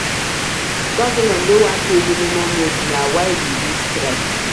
Government no wan pay minimum wage na why we dey strike.